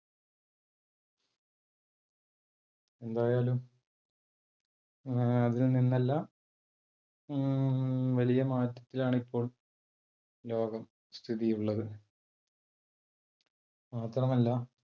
എന്തായാലും അതിൽ നിന്ന് എല്ലാം വലിയ മാറ്റത്തിൽ ആണ് ഇപ്പോൾ ലോകം സ്ഥിതി ഉള്ളത്. മാത്രം അല്ല,